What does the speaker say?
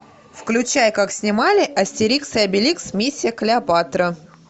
включай как снимали астерикс и обеликс миссия клеопатра